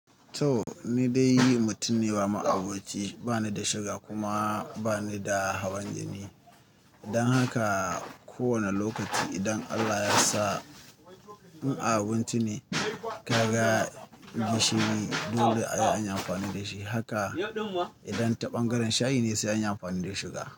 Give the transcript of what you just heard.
Toh ni dai mutum ne ba ma'aboci, bani da suga kuma bani da hawan jini. Dan haka ko wane lokaci idan Allah ya sa in a abinci ne ka ga gishiri dole a yi amfani da shi. Haka idan ta ɓangaren shayi ne sai an yi amfani da suga.